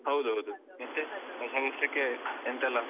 ಹೌದೌದು ಹೊಸ ವರ್ಷಕ್ಕೆ ಎಂತೆಲ್ಲ?